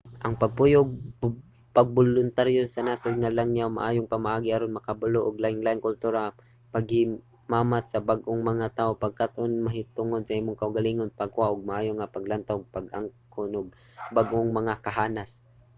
ang pagpuyo ug pagboluntaryo sa nasod nga langyaw maayong pamaagi aron makabalo og lainlaing kultura pakighimamat sa bag-ong mga tawo pagkat-on mahitungod sa imong kaugalingon pagkuha og maayo nga paglantaw ug pag-angkon og bag-ong mga kahanas